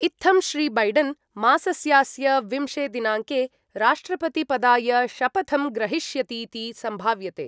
इत्थं श्री बैडन् मासस्यास्य विंशे दिनाङ्के राष्ट्रपतिपदाय शपथं ग्रहीष्यतीति सम्भाव्यते।